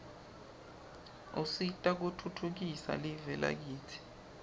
usita kutfutfukisa live lakitsi